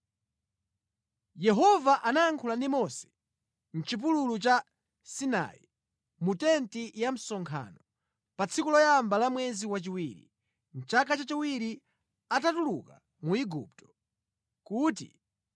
Yehova anayankhula ndi Mose mʼchipululu cha Sinai, mu tenti ya msonkhano, pa tsiku loyamba la mwezi wachiwiri, mʼchaka chachiwiri atatuluka mu Igupto, kuti,